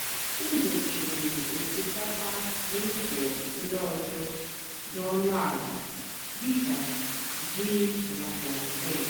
m dòchírì ó̟sìkápà nà ụ́zọ̀ ndí ọ́zọ́ dì ónú àlà dì kà jìí nà plántéen.